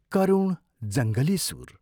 करुण जङ्गली सुर।